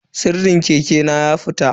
Sirdin keke na ya fita.